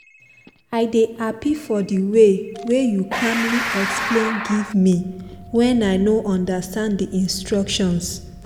i dey happy for the waywey you calmly explain give me when i no understand the instructions.